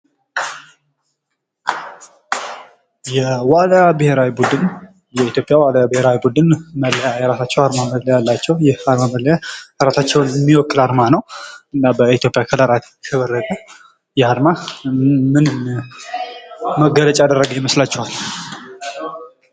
የዋና ብሔራዊ ቡድን የኢትዮጵያ ዋና ብሔራዊ ቡድን መለያ የራሳቸው አርማ መለያ አላቸው። ይህ አርማ መለያ ራሳቸውን የሚወክል አርማ ነው ።እና በኢትዮጵያ ከለራት የተወረበ የአርማ ምን መገለጫ ያደረገ የመስላችኋል?